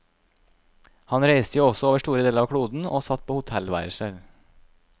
Han reiste jo også over store deler av kloden og satt på hotellværelser.